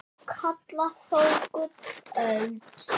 kalla þó gullöld